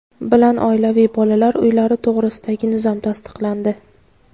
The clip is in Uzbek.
bilan Oilaviy bolalar uylari to‘g‘risidagi nizom tasdiqlandi.